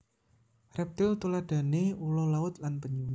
Reptil tuladhane ula laut lan penyu